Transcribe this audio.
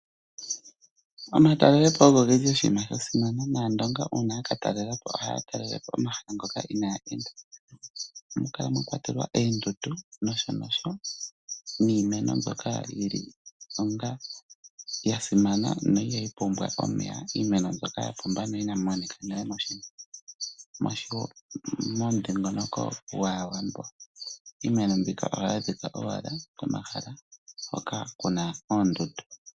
Omatalelopo ogo oshinima sha simana nAandonga uuna ya ka talela po ohaya talelepo omahala ngoka inaaya enda. Ohamu kala mwa kwatelwa oondundu noshowo iimeno mbyoka ya simana na ihayi pumbwa omeya. Iimeno mbyoka ya pumba inayi monika nale momudhingoloko gwAawambo. Iimeno mbika ohayi adhika owala komahala hoka ku na oondundu.